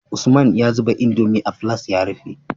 Usman ya zuba indomie a filas ya rufe